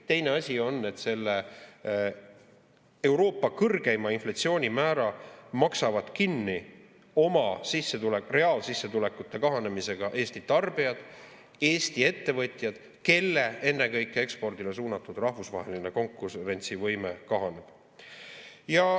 Teine asi on, et selle Euroopa kõrgeima inflatsioonimäära maksavad kinni oma reaalsissetulekute kahanemisega Eesti tarbijad, Eesti ettevõtjad, kelle ennekõike ekspordile suunatud rahvusvaheline konkurentsivõime kahaneb.